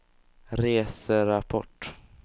reserapport